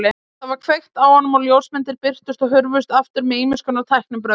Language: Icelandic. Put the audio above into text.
Það var kveikt á honum og ljósmyndir birtust og hurfu aftur með ýmiskonar tæknibrögðum.